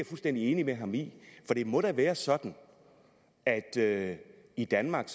fuldstændig enig med ham i for det må da være sådan at det i danmark